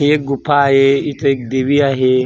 हि एक गुफा आहे इथं एक देवी आहे.